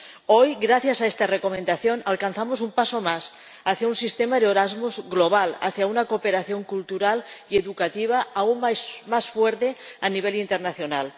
Hoy, gracias a esta Recomendación, damos un paso más hacia un sistema de Erasmus global, hacia una cooperación cultural y educativa aún más fuerte a nivel internacional.